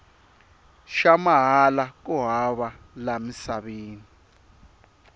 xa mahala ku hava la emisaveni